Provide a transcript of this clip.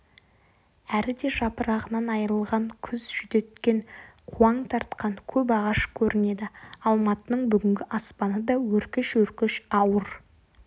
әріде жапырағынан айрылған күз жүдеткен қуаң тартқан көп ағаш көрінеді алматының бүгінгі аспаны да өркеш-өркеш ауыр